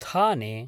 थाने